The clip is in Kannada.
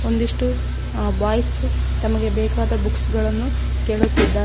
ಒಂದಿಷ್ಟು ಅ ಬಾಯ್ಸ್ ತಮಗೆ ಬೇಕಾದ ಬುಕ್ಸ್ ಗಳನ್ನು ಕೇಳುತ್ತಿದ್ದಾರೆ.